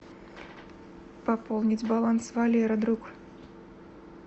пополнить баланс валера друг